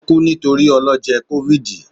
o ku nitori ọlọjẹ covid